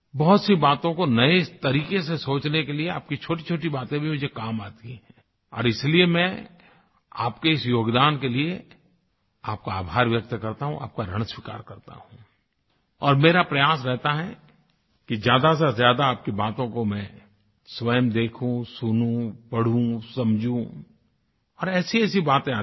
बहुतसी बातों को नये तरीक़े से सोचने के लिए आपकी छोटीछोटी बातें भी मुझे काम आती हैं और इसलिए मैं आपके इस योगदान के लिए आपका आभार व्यक्त करता हूँ आपका ऋण स्वीकार करता हूँ और मेरे प्रयास रहता है कि ज़्यादासेज़्यादा आपकी बातों को मैं स्वयं देखूँ सुनूँ पढूँ समझूँ और ऐसीऐसी बातें आती हैं